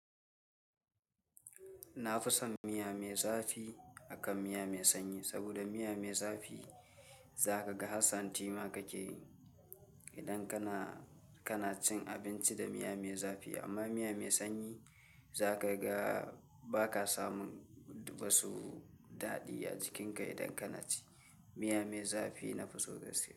Na fi son miya mai zafi akan miya mai sanyi saboda miya mai zafi za ka ga ha santi ma kake idan kana, cin abinci da miya mai zafi amma miya mai sanyi zakaga baka samun wasu dadi a jikin ka idan kana ci. Miya mai zafi na fi so gaski.